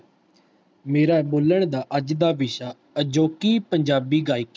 ਮੇਰਾ ਬੋਲਣ ਦਾ ਅੱਜ ਦਾ ਵਿਸ਼ਾ ਅਜੋਕੀ ਪੰਜਾਬੀ ਗਾਇਕੀ